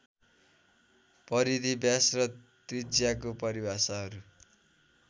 परिधि व्यास र त्रिज्याको परिभाषाहरु